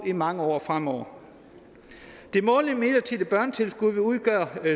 i mange år fremover det månedlige midlertidige børnetilskud vil udgøre